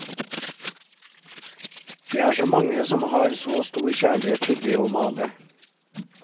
Det er så mange som har så stor kjærlighet til det å male.